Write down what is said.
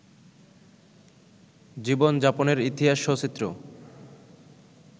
জীবনযাপনের ইতিহাস সচিত্র